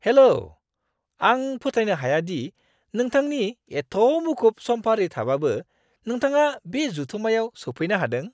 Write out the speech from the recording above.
हेल'! आं फोथायनो हाया दि नोंथांनि एत्थ मुखुब समफारि थाबाबो नोंथाङा बे जथुमायाव सौफैनो हादों।